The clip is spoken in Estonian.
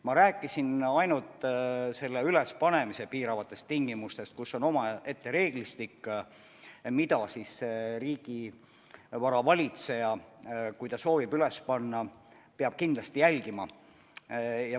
Ma rääkisin ainult selle üles panemise piiravatest tingimustest, mille kohta on omaette reeglistik, mida riigivara valitseja, kui ta soovib seda tarkvara üles panna, peab kindlasti järgima.